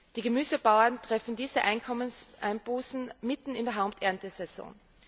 Die Gemüsebauern treffen diese Einkommenseinbußen mitten in der Haupterntesaison.